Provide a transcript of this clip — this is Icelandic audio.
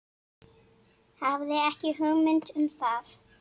Hafði ekki hugmynd um það.